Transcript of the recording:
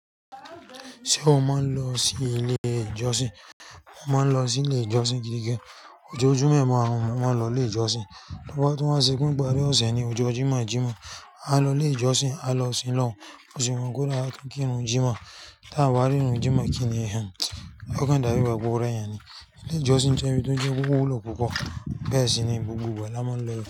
Ṣé o máa ń lọ sí ilé ìjọsìn? Mo máa ń lọ sí ilé ìjọsìn gidi gan. Ojoojúmọ́ máa ń mó mààn lọ ilé ìjọsìn. Lọ́wọ́ tó wá sípín pábí ọ̀sẹ̀ ni ó ṣe ní ọjọ́ jímọ̀ Jímọ̀ a lọ ilé ìjọsìn, a lọ sin lọ́run, bó ṣe wùn kóri a tún kírun Jímọ̀. Ta a bá rírun Jímọ̀ kíni ehín, ó kan dàbí pé ó rẹ èèyàn ni ilé ìjọsìn jẹ́ ibi tó ń jẹ́ ibi tó jìn púpọ̀, bẹ́ẹ̀ sì ni gbogbo ìgbà la máa ń lọ ibẹ̀.